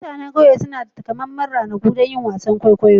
Mutanen ƙauye suna da takamaiman ranaku don yin wasan kwaikwayo.